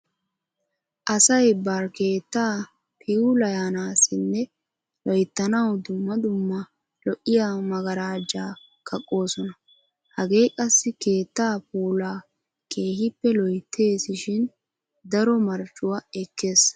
Asay bari keettaa piulayanaassinne loyttanawu dumma dumma lo'iya maggarajjaa kaqqoosona. Hagee qassi keettaa puulaa keehippe loytteesi shin daro marccuwa ekkees.